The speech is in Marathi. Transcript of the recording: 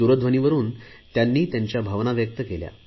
दूरध्वनीवरुन त्यांनी त्यांच्या भावना व्यक्त केल्या